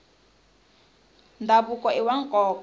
ndhavuko iwa nkoka